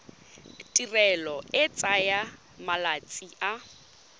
tirelo e tsaya malatsi a